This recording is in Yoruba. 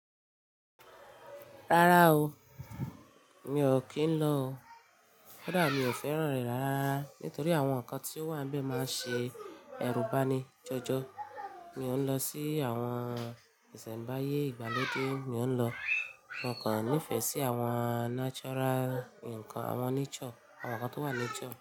Rárá o, mi ò kí ń lọ o. Kódà mi ò fẹ́ràn rẹ̀ rárá nítorí àwọn nǹkan tí ó wà níbẹ̀ máa ń ṣe ẹrúbani jọjọ. Mi ò ń lọ sí àwọn ìsẹ̀mbáyé ìgbàlódé, mi ò ń lọ. Mo kàn nífẹ̀ẹ́ sí àwọn natural nǹkan, àwọn nature, àwọn nǹkan tó wà nature.